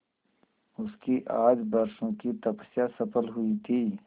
उसकी आज बरसों की तपस्या सफल हुई थी